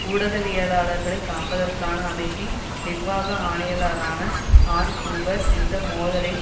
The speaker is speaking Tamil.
ஊடகவியலாளர்களை காப்பதற்கான அமைப்பின் நிர்வாக ஆணையாளரான அன் கூபர் இந்த மோதலின்